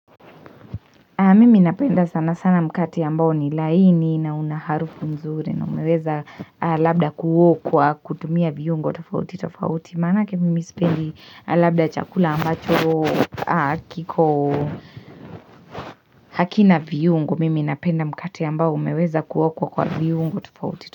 Mimi napenda sana sana mkate ambao ni laini na unaharufu nzuri na umeweza labda kuo kwa kutumia viungo tofauti tofauti. Manake mimi spendi labda chakula ambacho kiko hakina viungo. Mimi napenda mkate ambao umeweza kuo kwa viungo tofauti tofauti.